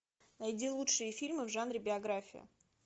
найди лучшие фильмы в жанре биография